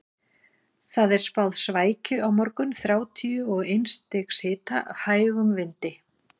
Það er spáð svækju á morgun, þrjátíu og eins stigs hita, hægum vindi.